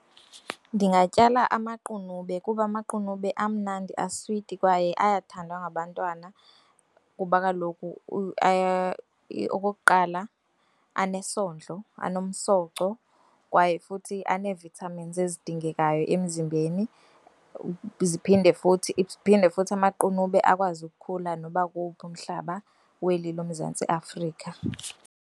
Ndingatyala amaqunube kuba amaqunube amnandi, aswiti kwaye ayathandwa ngabantwana kuba kaloku okokuqala, anesondlo, anomsoco kwaye futhi ane-vitamins ezidingekayo emzimbeni phinde futhi amaqunube akwazi ukukhula noba kuwuphi umhlaba kweli loMzantsi Afrika.